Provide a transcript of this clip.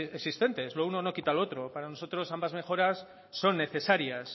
existentes lo uno no quita lo otro para nosotros ambas mejoras son necesarias